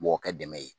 Mɔgɔ ka dɛmɛ ye